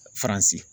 Faransi